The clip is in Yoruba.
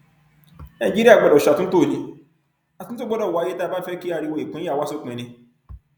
nàìjíríà gbọdọ ṣe àtúntò ní àtúntò gbọdọ wáyé tá a bá fẹ kí ariwo ìpínyà wa sópin ni